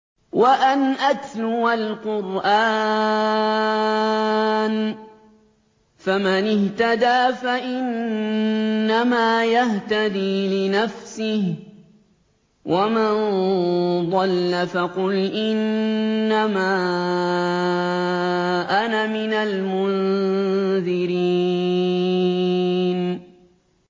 وَأَنْ أَتْلُوَ الْقُرْآنَ ۖ فَمَنِ اهْتَدَىٰ فَإِنَّمَا يَهْتَدِي لِنَفْسِهِ ۖ وَمَن ضَلَّ فَقُلْ إِنَّمَا أَنَا مِنَ الْمُنذِرِينَ